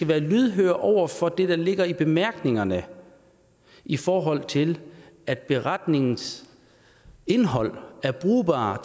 være lydhøre over for det der ligger i bemærkningerne i forhold til at beretningens indhold er brugbar